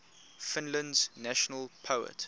finland's national poet